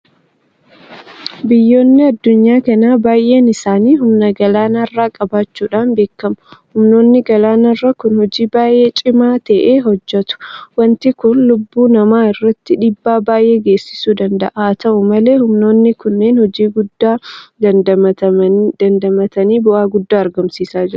Biyyoonni addunyaa kanaaa baay'een isaanii humna galaanarraa qabaachuudhaan beekamu. Humnoonni galaanarraa kun hojii baay'ee cimaa ta'e hojjetu. Waanti kun lubbuu namaa irratti dhiibbaa baay'ee geessisuu danda'a. Haata'u malee humnoonni kunneen hojii guddaa damdamatanii bu'aa guddaa argamsiisaa jiru.